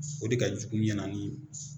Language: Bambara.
O de ka jugu n ɲɛna ni